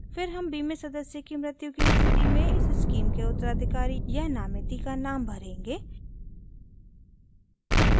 फिर हम बीमित सदस्य की मृत्यु की स्थिति में इस स्कीम के उत्तराधिकारी या नामिती का नाम भरेंगे